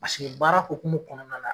Paseke baara hokumu kɔnɔna la